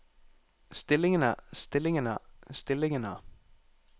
stillingene stillingene stillingene